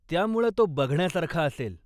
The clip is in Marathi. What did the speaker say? त्यामुळं तो बघण्यासारखा असेल.